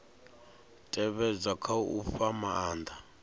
tevhedzwa kha u fha maanda